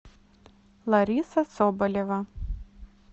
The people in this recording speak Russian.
лариса соболева